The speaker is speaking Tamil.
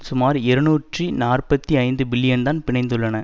சுமார் இருநூற்றி நாற்பத்தி ஐந்து பில்லியன்தான் பிணைந்துள்ளன